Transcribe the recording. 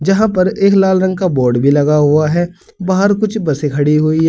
यहां पर एक लाल रंग का बोर्ड भी लगा हुआ है बाहर कुछ बसें खड़ी हुई है।